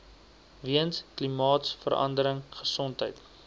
weens klimaatsverandering gesondheid